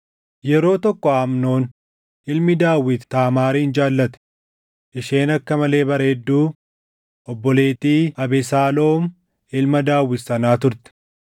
Yeroo tokko Amnoon ilmi Daawit Taamaarin jaallate; isheen akka malee bareedduu, obboleettii Abesaaloom ilma Daawit sanaa turte.